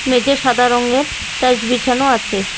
মেঝে সাদা রঙ্গের টাইলস বিছানো আছে।